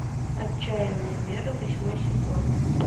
отчаянные меры восьмой сезон